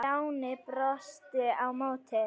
Stjáni brosti á móti.